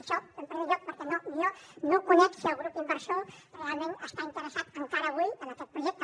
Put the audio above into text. això en primer lloc perquè no jo no conec si el grup inversor realment està interessat encara avui en aquest projecte